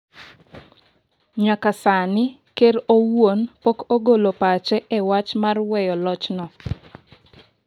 nyaka sani ker owuon pok ogolo pache e wach mar weyo loch no